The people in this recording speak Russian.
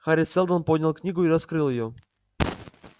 хари сэлдон поднял книгу и раскрыл её